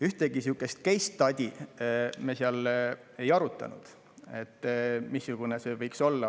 Ühtegi sihukest case study't me seal ei arutanud, missugune see võiks olla.